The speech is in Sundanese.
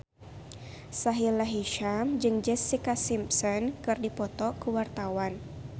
Sahila Hisyam jeung Jessica Simpson keur dipoto ku wartawan